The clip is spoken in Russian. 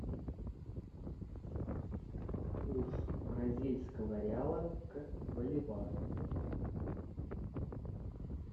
курс бразильского реала к боливару